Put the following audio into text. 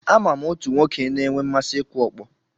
Ama m otu nwoke na-enwe mmasị ịkụ ọkpọ.